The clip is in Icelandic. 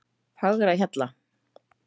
Fagrahjalla